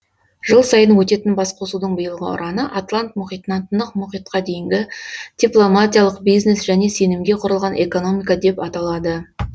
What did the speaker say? жыл сайын өтетін басқосудың биылғы ұраны атлант мұхитынан тынық мұхитқа дейінгі дипломатиялық бизнес және сенімге құрылған экономика деп аталады